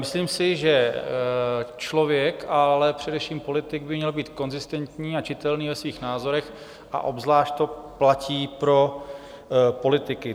Myslím si, že člověk, ale především politik by měl být konzistentní a čitelný ve svých názorech, a obzvlášť to platí pro politiky.